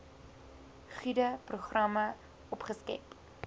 gude programme opgeskerp